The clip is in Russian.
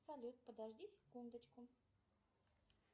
салют подожди секундочку